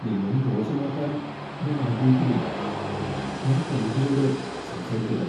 നിങ്ങളെ മോശമാക്കാൻ ഞാൻ ആഗ്രഹിക്കുന്നില്ല. ഞാൻ ക്ലയന്റിനോട് സംസാരിക്കട്ടെ.